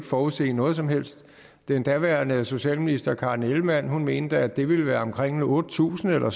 forudse noget som helst den daværende socialminister fru karen ellemann mente at det ville være omkring otte tusind eller